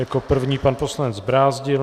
Jako první pan poslanec Brázdil.